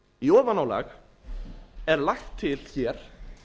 í ofanálag er lagt til hér